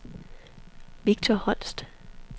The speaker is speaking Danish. Victor Holst